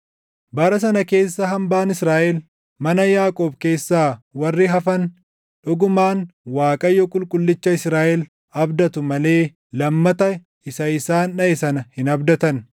Bara sana keessa hambaan Israaʼel, mana Yaaqoob keessaa warri hafan, dhugumaan Waaqayyo Qulqullicha Israaʼel abdatu malee lammata isa isaan dhaʼe sana hin abdatan.